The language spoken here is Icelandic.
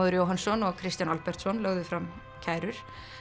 Jóhannsson og Kristján Albertsson lögðu fram kærur